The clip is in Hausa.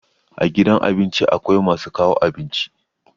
A gidan abinci akwai masu kawo abinci.